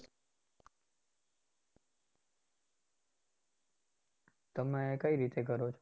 તમે કઇ રીતે કરો છો?